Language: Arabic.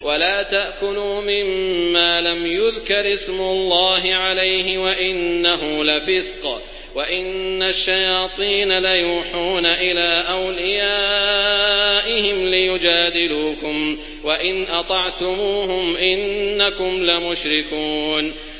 وَلَا تَأْكُلُوا مِمَّا لَمْ يُذْكَرِ اسْمُ اللَّهِ عَلَيْهِ وَإِنَّهُ لَفِسْقٌ ۗ وَإِنَّ الشَّيَاطِينَ لَيُوحُونَ إِلَىٰ أَوْلِيَائِهِمْ لِيُجَادِلُوكُمْ ۖ وَإِنْ أَطَعْتُمُوهُمْ إِنَّكُمْ لَمُشْرِكُونَ